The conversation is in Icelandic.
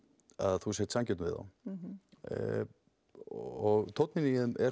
þú sért sanngjörn við þá og tóninn í þeim er